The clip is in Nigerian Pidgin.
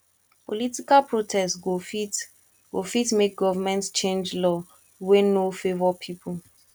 political protest go fit go fit make government change law wey no favor pipo